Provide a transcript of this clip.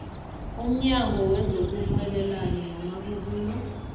umnyango wezokurhwebelana namabubulo